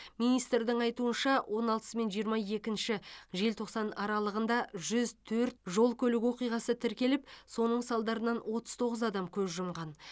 министрдің айтуынша он алтысы мен жиырма екінші желтоқсан аралығында жүз төрт жол көлік оқиғасы тіркеліп соның салдарынан отыз тоғыз адам көз жұмған